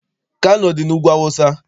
Kano dị n'Ugwu Awụsa.